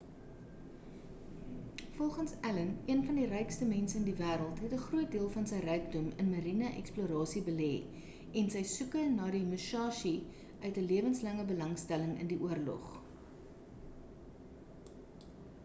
volgens allen een van die rykste mense in die wêreld het 'n groot deel van sy rykdom in mariene eksplorasie belê en sy soeke na die musashi uit 'n lewenslange belangstelling in die oorlog